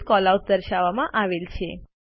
વિવિધ કેલઆઉટ્સ દર્શાવવામાં આવેલ છે